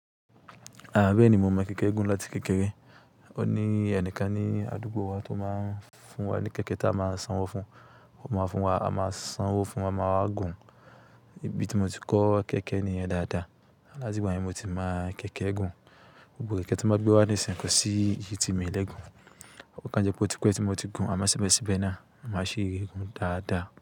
Beẹni mọ̀ mo kẹ̀kẹ́ gùn láti kékeré. Ó ní ẹnìkan ní àdúgbò wa tó máa ń fún wa ní kẹ̀kẹ́ ta a máa san owó fún, ó máa fún wa, a máa san owó fún, a máa wá gùn. Ibi tí mo ti kọ́ kẹ̀kẹ́ nìyẹn dáadáa. Láti ìgbà yẹn mo ti mọ̀ kẹ̀kẹ́ gùn. Gbogbo kẹ̀kẹ́ tan bá gbé wa nìsìnyi ko si iyí tì mi ń lẹ́ gùn. Ọ kàn jẹ́ pé ó ti pẹ́ tí mo ti gùn, amo ṣíbẹ̀ ṣíbẹ̀ náà, máa ṣí rí gùn dáadáa.